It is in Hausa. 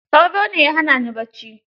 Sauro ne ya hana ni bacci.